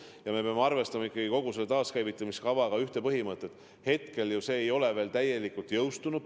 Ja me peame arvestama ikkagi kogu selle taaskäivitamiskava puhul ühte asja: hetkel see ei ole veel täielikult jõustunud.